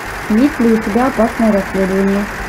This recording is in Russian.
есть ли у тебя опасное расследование